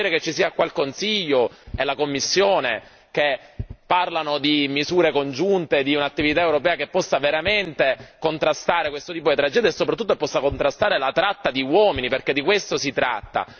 Mi fa piacere che ci siano qua il Consiglio e la Commissione, che parlano di misure congiunte, di un'attività europea che possa veramente contrastare questo tipo di tragedia e soprattutto possa contrastare la tratta di uomini, perché di questo si tratta.